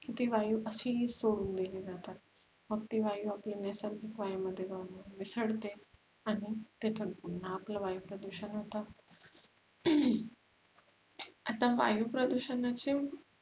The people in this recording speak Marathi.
ती वायु अशीच सोडुन दिली जातात मग ती वायु आपल्या नैसर्गिक वायु मध्ये जाऊन मिसळते आणि तिथून पुन्हा आपल वायु प्रदुषण होते आता वायु प्रदूषणाचे